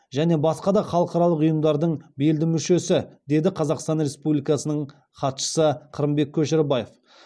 және басқа да халықаралық ұйымдардың белді мүшесі деді қазақстан республикасының хатшысы қырымбек көшербаев